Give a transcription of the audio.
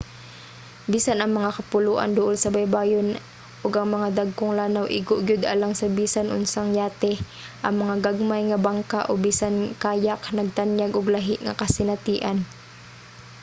bisan ang mga kapuloan duol sa baybayon ug ang mga dagkong lanaw igo gyud alang sa bisan unsang yate ang mga gagmay nga bangka o bisan kayak nagtanyag og lahi nga kasinatian